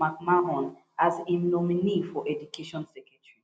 mcmahon as im nominee for education secretary